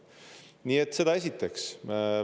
Nii et seda esiteks.